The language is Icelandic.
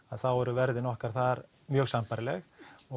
þá eru verðin okkar þar mjög sambærileg